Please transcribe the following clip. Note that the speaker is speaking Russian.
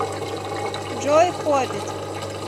джой хоббит